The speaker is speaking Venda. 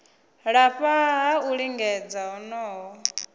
lafha ha u lingedza honoho